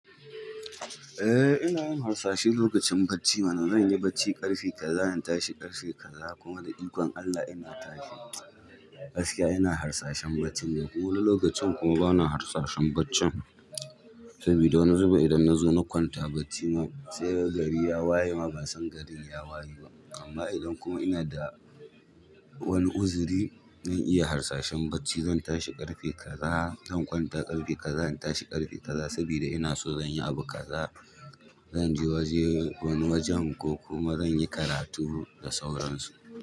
Eh ina yin harsashe lokacin bacci mana zanyi bacci ƙarfe kaza in tashi ƙarfe kaza kuma da ikon allah ina tashi gaskiya ina harsashen baccin wani lokacin kuma bana harsashen baccin sabida wani zubin idan na zo na kwanta bacci ma sai gari ya waye ma ban son gari ya waye ba amma idan kuma ina da wani uzuri zan iya harsashen bacci zan tashi ƙarfe kaza zan kwanta ƙarfe kaza zan tashi ƙarfe kaza sabida ina so zan yi abu kaza zan je waje wani wajen ko kuma zan yi karatu da sauransu.